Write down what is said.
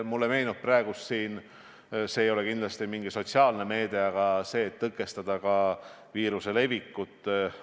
Mulle meenub praegu veel üks meede, mis ei ole küll sotsiaalne meede, vaid seotud sellega, et tõkestada viiruse levikut.